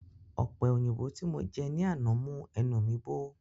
Ọpẹ òyìnbó tí mo jẹ ní àná mú ẹnu mi bó